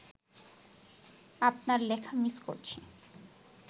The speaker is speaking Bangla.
আপনার লেখা মিস করছি